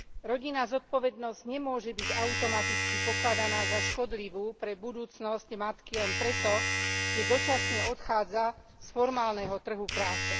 Rodinná zodpovednosť nemôže byť automaticky pokladaná za škodlivú pre budúcnosť matky len preto, že dočasne odchádza z formálneho trhu práce.